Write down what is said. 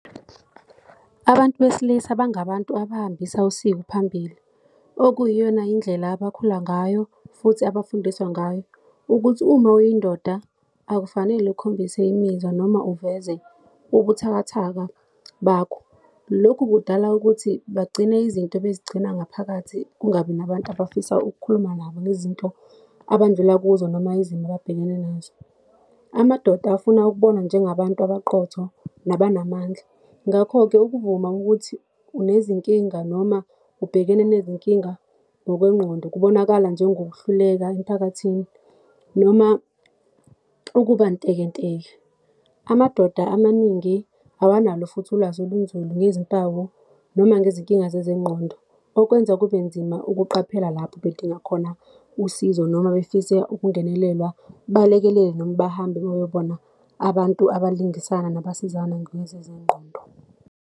Abantu besilisa bangabantu abahambisa usiko phambili, okuyiyona indlela abakhula ngayo, futhi abafundiswa ngayo, ukuthi uma uyindoda akufanele ukhombise imizwa, noma uveze ubuthakathaka bakho. Lokhu kudala ukuthi bagcine izinto bezigcina ngaphakathi, kungabi nabantu abafisa ukukhuluma nabo ngezinto abandlula kuzo, noma izimo ababhekene nazo. Amadoda afuna ukubonwa njengabantu abaqotho nabanamandla, ngakho-ke ukuvuma ukuthi unezinkinga noma ubhekene nezinkinga ngokwengqondo kubonakala njengokuhluleka emphakathini, noma ukuba ntekenteke. Amadoda amaningi awanalo futhi ulwazi olunzulu ngezimpawu, noma ngezinkinga zezengqondo, okwenza kube nzima ukuqaphela lapho bedinga khona usizo, noma befisa ukungenelelwa, balekelelwe noma bahambe bayobona abantu abalingisina nabasizana ngokwezezingqondo.